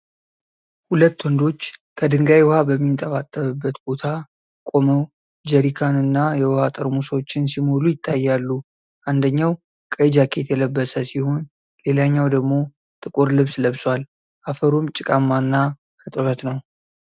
ሁለት ወንዶች ከድንጋይ ውኃ በሚንጠባጠብበት ቦታ ቆመው ጀሪካንና የውኃ ጠርሙሶችን ሲሞሉ ይታያሉ። አንደኛው ቀይ ጃኬት የለበሰ ሲሆን፣ ሌላኛው ደግሞ ጥቁር ልብስ ለብሷል፤ አፈሩም ጭቃማና እርጥብ ነው።